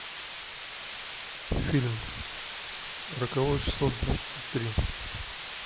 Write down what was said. фильм роковое число двадцать три